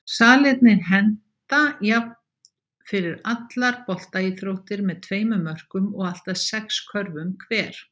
Salirnir henta jafnt fyrir allar boltaíþróttir með tveimur mörkum og allt að sex körfum hver.